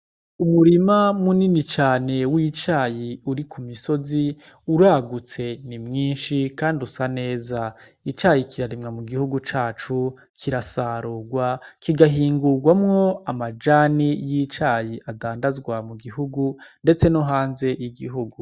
Umurima munini cane wicayi uri kumisozi, uragutse, ni mwinshi, kandi usa neza. Icayi kiraremwa mugihugu cacu, kirasarugwa, kigahingugwamwo amajani yicayi adadazwa mugihugu, ndetse no hanze yigihugu.